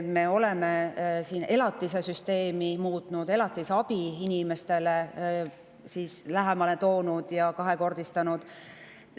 Me oleme elatisesüsteemi muutnud: toonud elatisabi inimestele lähemale ja seda kahekordistanud.